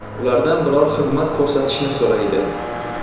Ulardan biror xizmat ko‘rsatishni so‘raydi.